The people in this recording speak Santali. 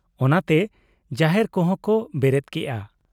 ᱚᱱᱟᱛᱮ ᱡᱟᱦᱮᱨ ᱠᱚᱦᱚᱸ ᱠᱚ ᱵᱮᱨᱮᱫ ᱠᱮᱜ ᱟ᱾